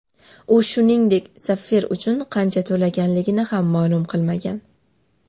U, shuningdek, sapfir uchun qancha to‘laganligini ham ma’lum qilmagan.